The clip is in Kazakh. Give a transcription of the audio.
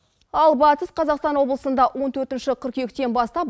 ал батыс қазақстан облысында он төртінші қыркүйектен бастап